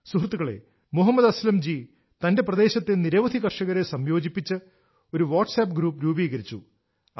സുഹൃത്തുക്കളേ മുഹമ്മദ് അസ്ലം ജി തന്റെ പ്രദേശത്തെ നിരവധി കർഷകരെ സംയോജിപ്പിച്ച് ഒരു വാട്ട്സ്ആപ്പ് ഗ്രൂപ്പ് രൂപീകരിച്ചു